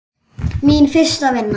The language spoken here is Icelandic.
Mín fyrsta vinna.